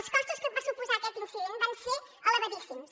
els costos que va suposar aquest incident van ser elevadíssims